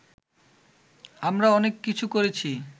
আমরা অনেক কিছু করেছি